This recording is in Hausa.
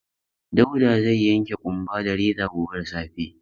Dauda zai yanke ƙumba da reza gobe da safe.